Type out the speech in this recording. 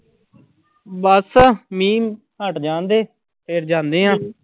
ਬਸ ਮੀਂਹ ਹਟ ਜਾਣਦੇ, ਫਿਰ ਜਾਂਦੇ ਹਾਂ।